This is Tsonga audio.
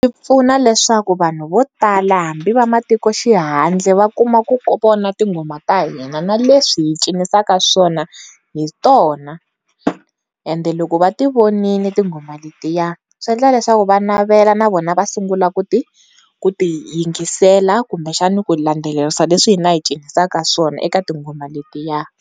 Pfuna leswaku vanhu vo tala hambi vamatikoxihndle va kuma ku vona tinghoma ta hina na leswi hi cinisaka swona hi tona ende loko va ti vonile tinghoma letiya swi endla leswaku va navela na vona va sungula ku ti ku ti yingisela kumbe xana ku landzelerisa leswi hina hi cinisaka swona eka tinghoma letiya.